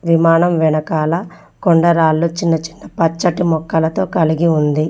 విమానం వెనకాల కొండరాళ్ళు చిన్న-చిన్న పచ్చటి మొక్కలతో కలిగి ఉంది.